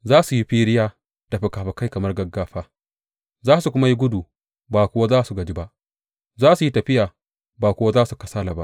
Za su yi firiya da fikafikai kamar gaggafa; za su kuma yi gudu ba kuwa za su gaji ba, za su yi tafiya ba kuwa za su kasala ba.